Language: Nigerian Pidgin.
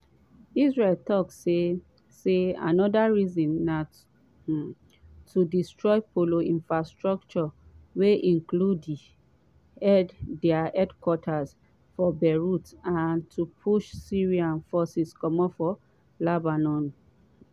israel tok say say aanoda reason na um to destroy plo infrastructure wey include dia headquarters for beirut and to push syrian forces comot lebanon.